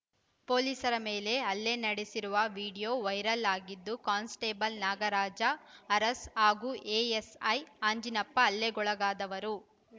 ಪೊಲೀಸರ ಮೇಲೆ ಹಲ್ಲೆ ನಡೆಸಿರುವ ವಿಡಿಯೋ ವೈರಲ್‌ ಆಗಿದೆ ಕಾನ್ಸ್‌ಟೇಬಲ್‌ ನಾಗರಾಜ ಅರಸ್‌ ಹಾಗೂ ಎಎಸ್‌ಐ ಅಂಜಿನಪ್ಪ ಹಲ್ಲೆಗೊಳಗಾದವರು